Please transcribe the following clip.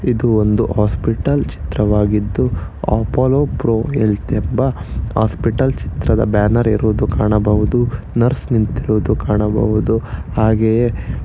ಇದು ಒಂದು ಹಾಸ್ಪಿಟಲ್ ಚಿತ್ರವಾಗಿದ್ದು ಅಪೋಲೋ ಪ್ರೋ ಹೆಲ್ತ್ ಎಂಬ ಹಾಸ್ಪಿಟಲ್ ಚಿತ್ರದ ಬ್ಯಾನರ್ ಇರುವುದು ಕಾಣಬಹುದು ನರ್ಸ್ ನಿಂತಿರೋದು ಕಾಣಬಹುದು ಹಾಗೆಯೇ--